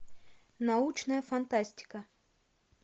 научная фантастика